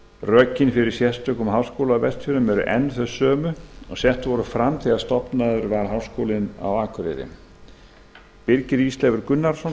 rökin fyrir sérstökum háskóla á vestfjörðum eru enn þau sömu og sett voru fram þegar stofnaður var háskólinn á akureyri birgir ísleifur gunnarsson